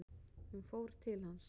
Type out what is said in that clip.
Hún fór til hans.